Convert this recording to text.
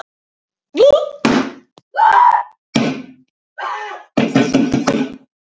Stefán sagðist ábyggilega geta notað hana í leikfélaginu.